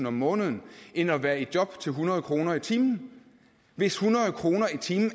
om måneden end at være i job til hundrede kroner i timen hvis hundrede kroner i timen